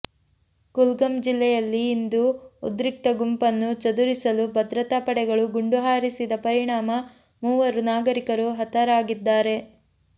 ಕುಲ್ಗಂ ಜಿಲ್ಲೆಯಲ್ಲಿ ಇಂದು ಉದ್ರಿಕ್ತ ಗುಂಪನ್ನು ಚದುರಿಸಲು ಭದ್ರತಾ ಪಡೆಗಳು ಗುಂಡು ಹಾರಿಸಿದ ಪರಿಣಾಮ ಮೂವರು ನಾಗರಿಕರು ಹತರಾಗಿದ್ದಾರೆ